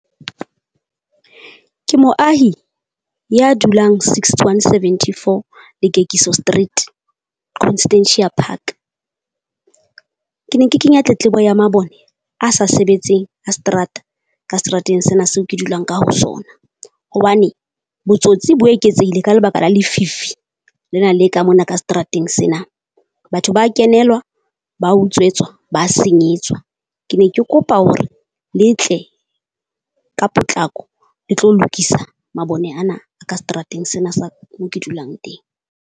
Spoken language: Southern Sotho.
Ke moahi ya dulang sixty-one, seventy-four Ekekiso street Constantia Park, Ke ne ke kenya tletlebo ya mabone a sa sebetseng a seterata ka seterateng sena seo ke dulang ka ho sona. Hobane botsotsi bo eketsehile ka lebaka la lefifi lena le ka mona ka seterateng sena. Batho ba kenelwa ba utswetswa, ba senyetswa. Ke ne ke kopa hore le tle ka potlako le tlo lokisa mabone ana a ka seterateng sena sa mo ke dulang teng.